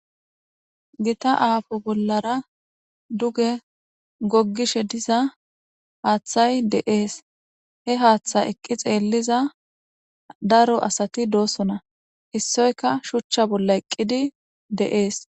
gita aafo bollara duge goggishe diza haaththay deees he haaththa eqqi xeelliza daro asati doosona issoyka shuchcha bolla eqqidi de7ees